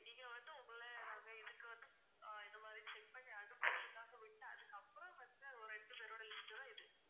விட்ட அதுக்கப்புறம் வந்த ஒரு ரெண்டு பேரோட list உ தான் இது